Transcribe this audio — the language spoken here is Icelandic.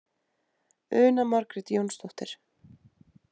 Una Margrét Jónsdóttir.